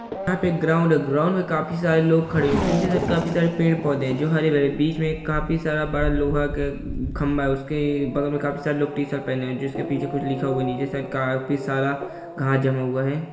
यहाँ पे एक ग्राउंड है | ग्राउंड में काफी सारे लोग खड़े हैं पीछे से काफी सारे पेड़ पौधे हैं जो हरे भरे है बीच मे काफी सारा बड़ा लोहा का खंबा है| उसके बगल में काफी सारे लोग टीशर्ट पहने है जिसके पीछे कुछ लिखा हुआ है नीचे साइड काफी सारा घास जमा हुआ है।